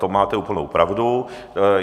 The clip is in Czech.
To máte úplnou pravdu.